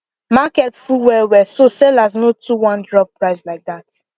market full well well so sellers no too wan drop price like that